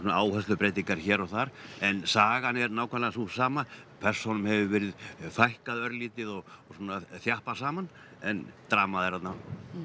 áherslubreytingar hér og þar en sagan er nákvæmlega sú sama persónum hefur verið fækkað örlítið og svona þjappað saman en dramað er þarna